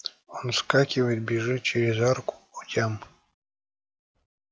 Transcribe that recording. он вскакивает бежит через арку к путям